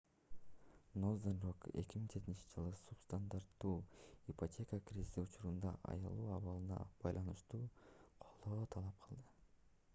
northern rock 2007-жылы субстандартуу ипотека кризиси учурундагы аялуу абалына байланыштуу колдоо талап кылды